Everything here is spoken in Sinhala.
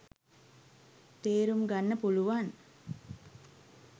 තේරුම් ගන්න පුළුවන්.